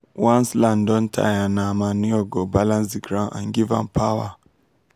once land don tire nah manure go balance the ground and give am power.